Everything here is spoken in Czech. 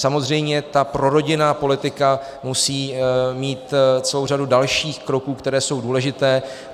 Samozřejmě ta prorodinná politika musí mít celou řadu dalších kroků, které jsou důležité.